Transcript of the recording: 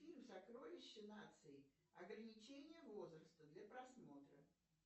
фильм сокровище нации ограничение возраста для просмотра